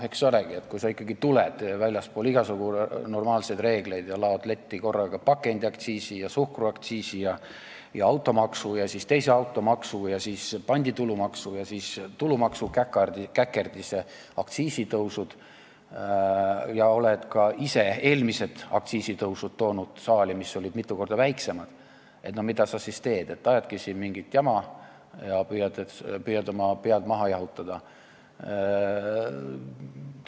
Eks olegi, kui sa ikkagi tuled väljaspool igasugu normaalseid reegleid ja laod letti korraga pakendiaktsiisi ja suhkruaktsiisi ja automaksu, siis veel teise automaksu ja panditulumaksu ja seejärel tulumaksu käkerdise, aktsiisitõusud, aga oled ise toonud saali ka eelmised aktsiisitõusud, mis olid mitu korda väiksemad, no mida sa siis teed – ajadki siin mingit jama ja püüad oma pead maha jahutada.